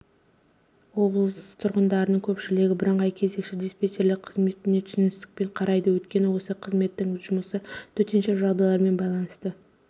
облыс тұрғындарының көпшілігі бірыңғай кезекші диспетчерлік қызметіне түсіністікпен қарайды өйткені осы қызметтің жұмысы төтенше жағдайлармен байланысты